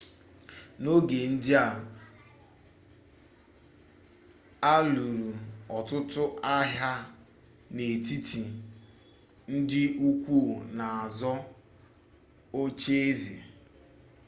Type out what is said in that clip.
n'oge ndị a a lụrụ ọtụtụ agha n'etiti ndi ukwu na-azọ oche eze